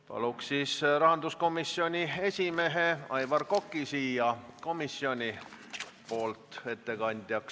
Palun siis komisjoni ettekandeks kõnepulti rahanduskomisjoni esimehe Aivar Koka!